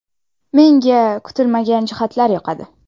Menga kutilmagan jihatlar yoqadi.